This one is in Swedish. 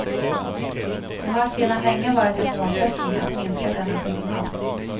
Det har sedan länge varit en målsättning att minska denna skillnad.